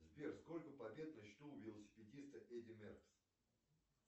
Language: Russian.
сбер сколько побед на счету у велосипедиста эдди меркс